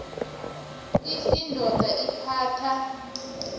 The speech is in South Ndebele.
f indoda ephatha